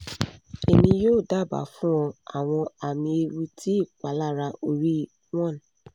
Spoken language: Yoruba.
emi yoo daba fun ọ awọn ami ewu ti ipalara ori one